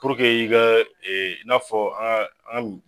Puruke i ka e i n'a fɔ aa ami